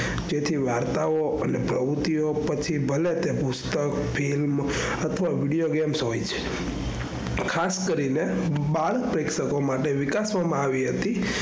તેથી વાર્તા ઓ અને પ્રવુતિ માટે પછી ભલે તે પુસ્તક film અથવા video games હોય છે.